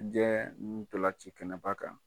Diɲɛ ndolanci kɛnɛ ba kan.